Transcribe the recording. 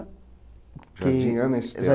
Jardim Ana Estela.